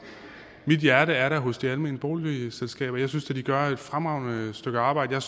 mit hjerte er da hos de almene boligselskaber jeg synes da de gør et fremragende stykke arbejde